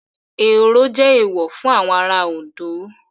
Ehoro jẹ́ Èèwọ̀ fún àwọn ará Òndó